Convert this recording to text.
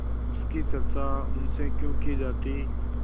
उसकी चर्चा उनसे क्यों की जाती